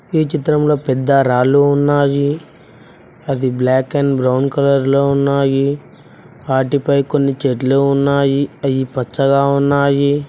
ఈ చిత్రంలో పెద్ద రాళ్లు ఉన్నాయి అది బ్లాక్ అండ్ బ్రౌన్ కలర్లో ఉన్నాయి వాటిపై కొన్ని చెట్లు ఉన్నాయి అవి పచ్చగా ఉన్నాయి.